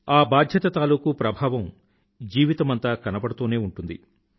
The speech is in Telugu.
ఆ బాధ్యత తాలూకూ ప్రభావం జీవితమంతా కనబడుతూనే ఉంటుంది